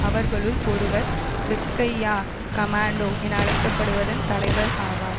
அவர்களுள் ஒருவர் விஸ்க்கயா கமாண்டோ என அழைக்க படுவதன் தலைவர் ஆவார்